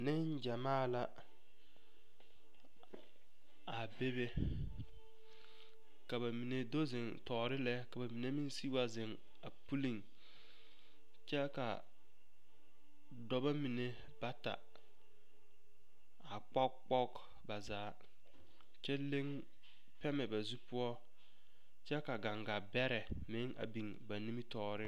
Neŋgyamaa la a bebe ka ba mine do zeŋ tɔɔre lɛ ka ba mine meŋ sigi wa zeŋ pulliŋ kyɛ ka dɔbɔ mine bata a kpogekpoge ba zaa kyɛ leŋ pɛmɛ ba zu poɔ kyɛ ka gaŋgabɛrɛ meŋ a biŋ ba nimitɔɔreŋ.